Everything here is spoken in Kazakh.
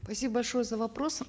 спасибо большое за вопрос